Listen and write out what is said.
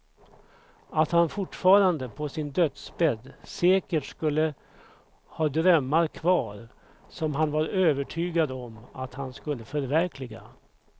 Att han fortfarande på sin dödsbädd säkert skulle ha drömmar kvar som han var övertygad om att han skulle förverkliga.